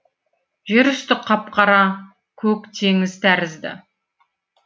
жер үсті қап қара көк теңіз тәрізді